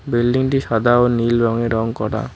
বিল্ডিংটি সাদা ও নীল রঙে রং করা।